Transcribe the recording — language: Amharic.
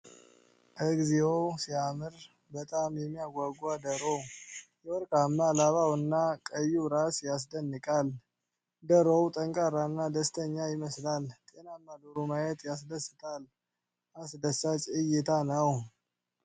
እግዚኦ ሲያምር! በጣም የሚያጓጓ ዶሮ። የወርቅማ ላባውና ቀዩ ራስ ያስደንቃል። ዶሮው ጠንካራ እና ደስተኛ ይመስላል። ጤናማ ዶሮ ማየት ያስደስታል። አስደሳች እይታ ነው።